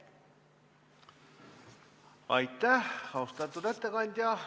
Aitäh, austatud ettekandja!